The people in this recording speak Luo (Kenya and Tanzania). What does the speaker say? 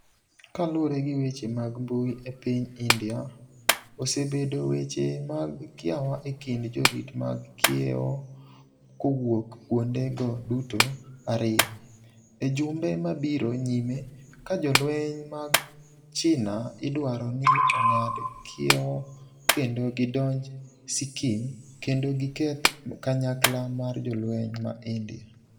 kalure gi weche mag mbui e piny India ,osebedo weche mag kiawa e kind jorit mag kiewo kowuok kuonde go duto ariyo ,e jumbe mabiro nyime ka jolweny mag China idwaro ni ong'ad kiewo kendo gidonj Sikkim kendo gi keth kanyakla mar jolweny ma India.